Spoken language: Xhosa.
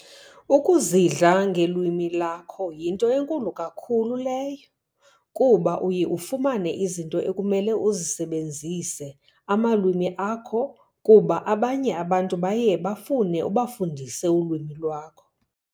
Ukuzidla ngelwimi lakho yinto enkulu kakhulu leyo kuba uye ufumane izinto ekumele usebenzise amalwimi akho kuba abanye abantu baye bafune ubafundisa ulwimi lakho.